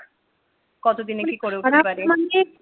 কতদিনে কি করে উঠতে পারি